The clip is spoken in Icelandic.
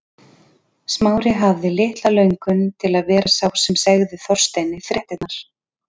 Smári hafði litla löngun til að vera sá sem segði Þorsteini fréttirnar.